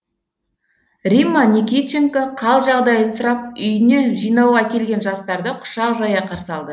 римма никитченко хал жағдайын сұрап үйін жинауға келген жастарды құшақ жая қарсы алды